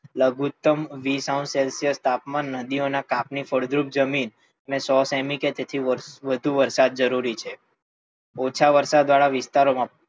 લઘુત્તમ વીસ અંસ સેલ્સીયસ જેટલું તાપમાન, નદીઓ ના કાંપ ની ફળદ્રુપ જમીન, અને સો સેમી કે તેથી વધુ વરસાદ જરૂરી છે. ઓછા વરસાદ વાળા વિસ્તારો માં,